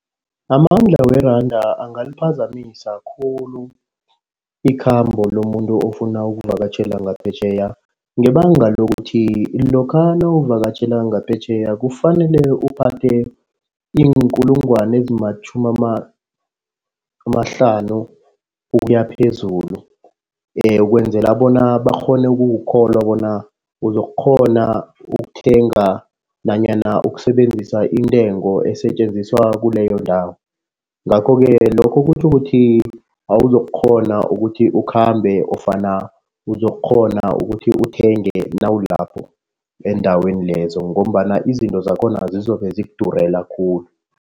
Amandla weranda angaliphazamisa khulu ikhambo lomuntu ofuna ukuvakatjhela ngaphetjheya. Ngebanga lokuthi lokha nawuvakatjhela ngaphetjheya kufanele uphathe iinkulungwane ezimatjhumi amahlanu ukuya phezulu. ukwenzela bona bakghone ukukukholwa bona uzokukghona ukuthenga nanyana ukusebenzisa intengo esetjenziswa kuleyo ndawo. Ngakho-ke lokho kutjho ukuthi awuzokukghona ukuthi ukhambe ofana uzokukghona ukuthi uthenge nalapho eendaweni lezo ngombana izinto zakhona zizobe zikudurela khulu.